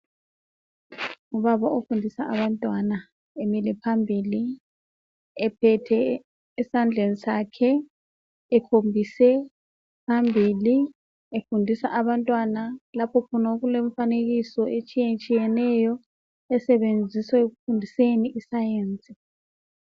Ubaba ofundisa abantwana emile phambili ephethe esandleni sakhe ekhombise phambili efundisa abantwana lapho khona okulemfanekiso etshiye tshiyeneyo esetshenziswa ekufundiseni iscience.